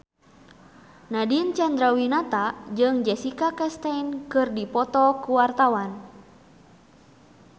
Nadine Chandrawinata jeung Jessica Chastain keur dipoto ku wartawan